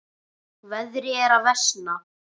Veðrið er að versna.